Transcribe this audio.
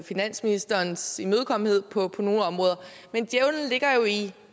finansministerens imødekommenhed på nogle områder men djævlen ligger jo i